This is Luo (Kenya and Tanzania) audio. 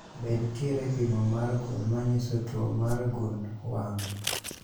Be nitiere pimo mar gund manyiso tuo mar gund wang'?